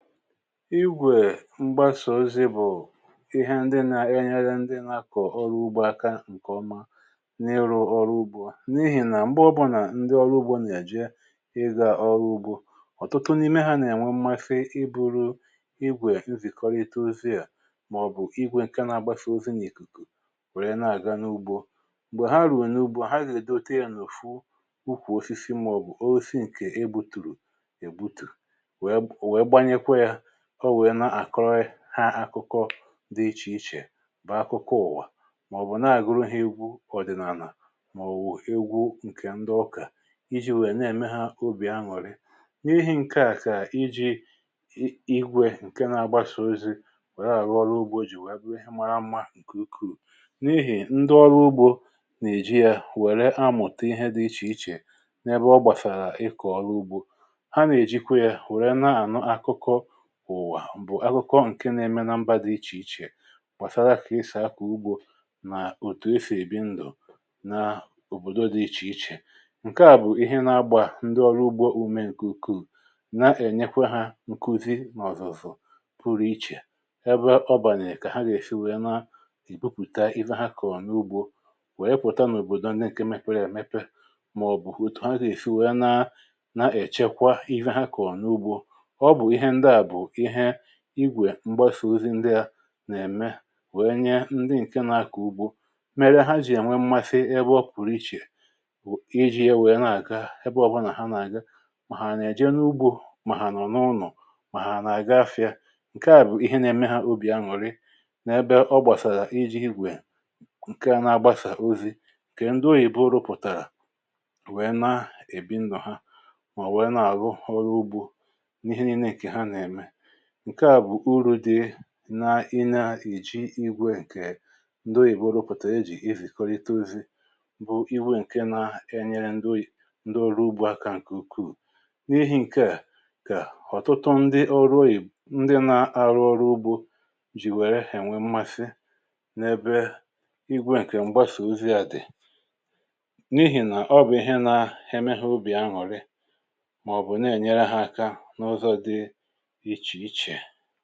Ịgwè mgbàsà ozi bụ̀ ihe ndị na-enyere ndị nȧkọ̀ ọrụ ugbȯ aka ǹkè ọma n’ịrụ̇ ọrụ ugbȯ, n’ihì nà m̀gbe ọbụlà ndị ọrụ ugbȯ nà-èje ịzà ọrụ ugbȯ, ọ̀tụtụ n’ime ha nà-ènwe mmafe ibu̇ru̇ igwè nzìkọrọ itȯ ozi à, màọ̀bụ̀ igwè ǹke na-agbàsà ozi n’ìkìkù nwèrè ya na-àga n’ugbȯ. m̀gbè ha ruè n’ugbȯ ha zà èdote ènùfu ukwù ofi̇fi, màọ̀bụ̀ ochi̇ ǹkè i bùtùrù èbutù, wèè gbanye kwa ya, ọ wùwe na-àkọrị ha akụkọ dị ichè ichè bụ akụkọ ụ̀wà, màọ̀bụ̀ na-àgụrụ ihe igwù ọ̀dị̀nàlà, màọ̀bụ̀ egwu ǹkè ndị ọkà, iji̇ nwèrè na-ème ha obì aṅụ̀rị. N’ihi ǹkè àkà iji̇ ii̇gwė ǹke na-agbaso ozi wèe àrụ ọrụ ugbȯ ji̇ wèe abụrụ ha mara mmȧ ǹkè ukwù. n’ihì ndị ọrụ ugbȯ nà-èji ya wèrè amụ̀ta ihe dị ichè ichè n’ebe ọ gbàsàrà ịkọ̀ọrụ ugbȯ. ha nà-èjikwa ya wèrè na-ànọ̀ akụkọ ùwà, bụ̀ akụkọ ǹke na-eme na mba dị ichè ichè màsara kà ịsà akụ̀ ugbȯ nà òtù esì èbi ndụ̀ naòbòdo dị ichè ichè. ǹke à bụ̀ ihe na-agbà ndị ọrụ ugbȯ ume ǹkè ukwuù, na-ènyekwa hȧ nkuzi nà ọ̀zọ̀fụ̀ pụrụ̇ ichè ebe ọ bàlị̀à kà ha gà-èsi wèe na ìbupùta iwe ha kà ọ̀ n’ugbȯ, wèe pụ̀ta n’òbòdò ndị ǹke mepe yȧ mepe, mà ọ̀ bụ̀ otù ha gà-èsi wèe na na-èchekwa ihe ha kà ọ̀ n’ugbȯ. Ọbụ ịhe ndịa bụ ịhe igwè mgbasà ozi ndị à nà-ème wee nye ndị ǹke nȧ-akọ̀ ugbȯ, mere ha jì ènwe mmasị ebe ọ pụ̀rụ ichè, iji̇ ye wèe nà-àga ebe ọ̀bụlà nà ha nà-àga, mà hà nà-èjie n’ugbȯ, mà hà nọ̀ n’ụnọ̀, mà hà nà-àga afị̇ȧ, ǹkè a bụ̀ ihe na-eme ha obì aṅụ̀rị n’ebe ọ gbàsàlà iji̇ igwè ǹke na-agbasà ozi̇, ǹkè ndị ohìbo rụpụ̀tàrà wee na-èbi ndụ̀ ha, mà wèe nà-àrụ ọrụ ugbȯ n ịhe nịle ha na eme. ǹke à bụ̀ urù dị n’ịnȧ-èji igwė ǹkè ndị oyìbo rụpụ̀tà e jì izìkọlite ozi̇ bụ iwu ǹke nȧ-enyere ndị ọrụ ugbȯ aka ǹkè ukwuù. N’ihi̇ ǹke à kà ọ̀tụtụ ndị ọrụoyì ndị nȧ-ȧrụ̇ ọrụ ugbȯ jì wère hà ènwe mmasị n’ebe igwė ǹkè m̀gbasà ozi à dị̀, n’ihì nà ọ bụ̀ ihe na ha emeha obì añụ̀rị, màọ̀bụ̀ na-ènyere ha aka na ụzọ dị ịche ịche.